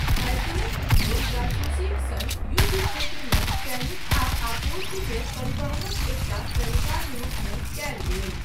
साइकिलक उपयोग जासूसीक सङ्ग युद्ध क्षेत्रमे सैनिक आ आपूर्ति के परिवहनक एकटा तरीकाक रूपमे कयल गेल।